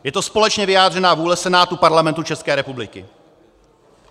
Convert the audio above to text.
Je to společně vyjádřená vůle Senátu Parlamentu České republiky.